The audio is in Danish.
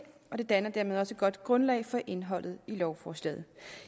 og de danner dermed også et godt grundlag for indholdet i lovforslaget